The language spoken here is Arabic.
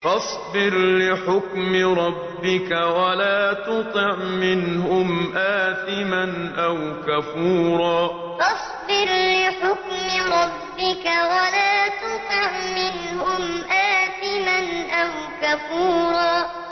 فَاصْبِرْ لِحُكْمِ رَبِّكَ وَلَا تُطِعْ مِنْهُمْ آثِمًا أَوْ كَفُورًا فَاصْبِرْ لِحُكْمِ رَبِّكَ وَلَا تُطِعْ مِنْهُمْ آثِمًا أَوْ كَفُورًا